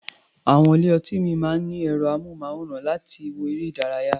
Àwọn ilé-ọtí ìmíì máa ń ní ẹ̀rọ-amóhùnmáwòrán láti wo eré-ìdárayá.